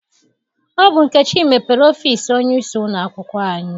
Ọ bụ Nkechi mepere ọfịịsi onyeisi ụlọakwụkwọ anyị.